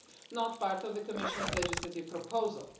not part of the Commission's legislative proposal.